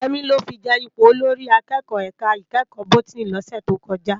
Yemi lò fi je ipó ólórì àkèkò èká ikèékò bótìní lòsè tókòjá